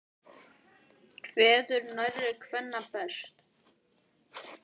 Kveður nærri kvenna best.